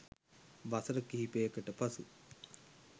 වසර කිහිපයකට පසු